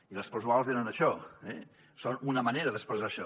i les plusvàlues eren això són una manera d’expressar això